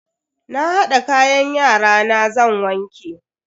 Na hada kayan yarana zan wanke.